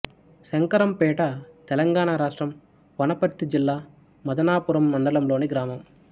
శంకరంపేట తెలంగాణ రాష్ట్రం వనపర్తి జిల్లా మదనాపురం మండలంలోని గ్రామం